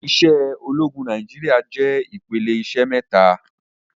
Iṣẹ́ ológun Nàìjíríà jẹ́ ìpele iṣẹ́ mẹ́ta.